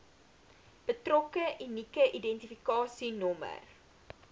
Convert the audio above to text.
betrokke unieke identifikasienommer